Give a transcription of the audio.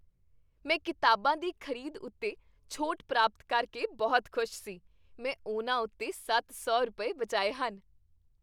ਮੈਂ ਕਿਤਾਬਾਂ ਦੀ ਖ਼ਰੀਦ ਉੱਤੇ ਛੋਟ ਪ੍ਰਾਪਤ ਕਰਕੇ ਬਹੁਤ ਖੁਸ਼ ਸੀ। ਮੈਂ ਉਨ੍ਹਾਂ ਉੱਤੇ ਸੱਤ ਸੌ ਰੁਪਏ, ਬਚਾਏ ਹਨ!